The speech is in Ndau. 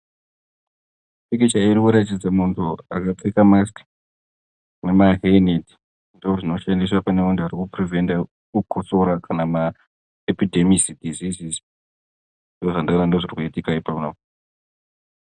Pikicha iyi irikuratidza vakapfeka masiki nema heya neti ,ndozvinoshandiswa panevanhu varikupreventa kukosora kana maepedemis diseases, ndozvandawona zvirikuitika ipapo.